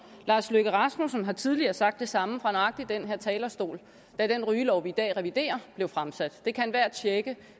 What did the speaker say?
lars løkke rasmussen har tidligere sagt det samme fra nøjagtig den her talerstol da den rygelov vi i dag reviderer blev fremsat det kan enhver tjekke